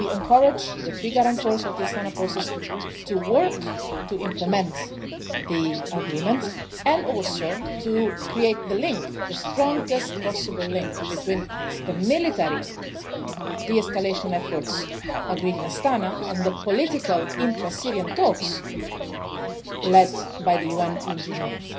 Geneva. We encourage the three guarantors of the Astana process to work to implement the agreement and also to create the strongest possible link between the military de escalation efforts agreed in Astana and the political intra Syrian talks led by the UN in